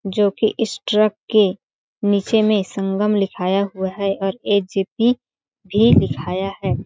जोकि इस ट्रक के नीचे में संगम लिखाया हुआ है और ए.जी.पी. भी लिखाया हैं ।